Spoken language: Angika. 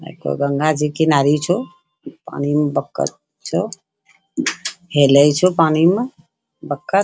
एक गो गंगा जी किनारे छो पानी मै बतख छो हेलइ छो पानी मै बतख |